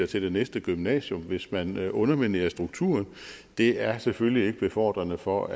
til det næste gymnasium hvis man underminerer strukturen det er selvfølgelig ikke befordrende for